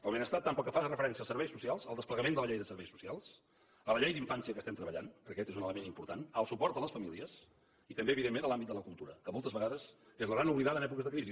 el benestar tant pel que fa referència als serveis socials al desplegament de la llei de serveis socials a la llei d’infància que estem treballant perquè aquest és un element important al suport a les famílies i també evidentment a l’àmbit de la cultura que moltes vegades és la gran oblidada en èpoques de crisi